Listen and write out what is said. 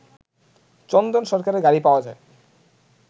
চন্দন সরকারের গাড়ি পাওয়া যায়